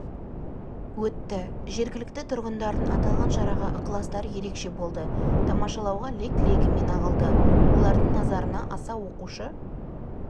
өтті жергілікті тұрғындардың аталған шараға ықыластары ерекше болды тамашалауға лег-легімен ағылды олардың назарына аса оқушы